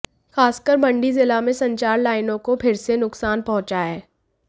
खासकर मंडी जिला में संचार लाइनों को फिर से नुकसान पहुंचा है